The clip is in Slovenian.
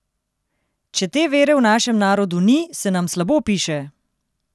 Če te vere v našem Narodu ni, se nam slabo piše!